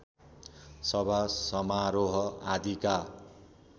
सभा समारोह आदिका